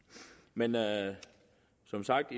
men som sagt